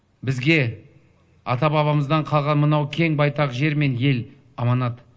бізге ата бабамыздан қалған мынау кең байтақ жер мен ел аманат